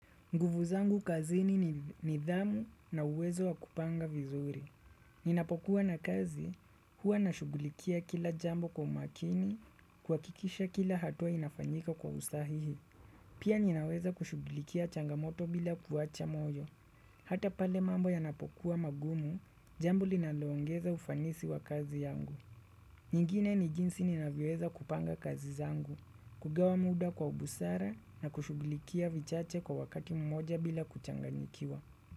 Nguvu zangu kazini ni nidhamu na uwezo wa kupanga vizuri. Ninapokuwa na kazi, huwa na shugulikia kila jambo kwa makini, kwa kikisha kila hatua inafanyika kwa usahihi. Pia ninaweza kushugulikia changamoto bila kuwacha mojo. Hata pale mambo ya napokuwa magumu, jambo linalongeza ufanisi wa kazi yangu. Nyingine ni jinsi ninavyoweza kupanga kazi zangu, kugawa muda kwa ubusara na kushughulikia vichache kwa wakati mmoja bila kuchanganyikiwa.